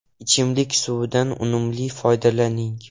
Ichimlik suvidan unumli foydalaning.